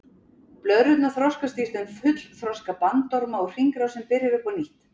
Blöðrurnar þroskast í þeim í fullþroska bandorma og hringrásin byrjar upp á nýtt.